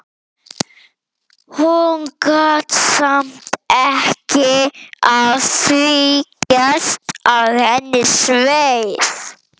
Hún gat samt ekki að því gert að henni sveið.